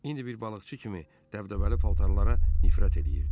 İndi bir balıqçı kimi dəbdəbəli paltarlara nifrət eləyirdi.